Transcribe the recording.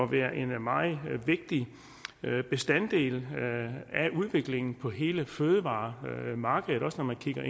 være en meget vigtig bestanddel af udviklingen på hele fødevaremarkedet også når man kigger